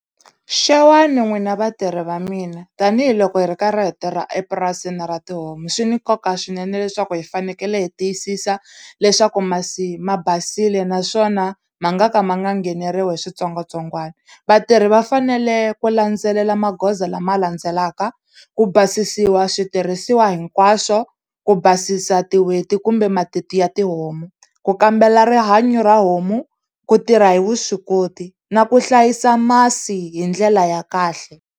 Xewani n'wina vatirhi va mina tanihiloko hi ri karhi hi tirha epurasini ra tihomu swi ni nkoka swinene leswaku hi fanekele hi tiyisisa leswaku masi ma basile naswona ma nga ka ma nga ngheneriwi hi switsongwatsongwana vatirhi va fanele ku landzelela magoza lama landzelaka ku basisiwa switirhisiwa hinkwaswo ku basisa kumbe matiti ya tihomu ku kambela rihanyo ra homu ku tirha hi vuswikoti na ku hlayisa masi hi ndlela ya kahle.